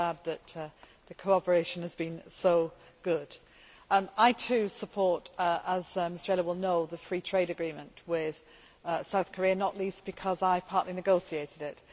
I am glad that the collaboration has been so good. I, too, support, as Mr Ehler will know, the free trade agreement with South Korea, not least because I partly negotiated it.